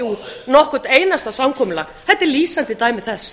út nokkurt einasta samkomulag þetta er lýsandi dæmi þess